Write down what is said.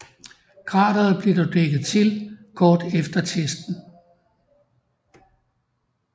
Krateret blev dog dækket til kort efter testen